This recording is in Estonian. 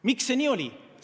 Miks see nii oli?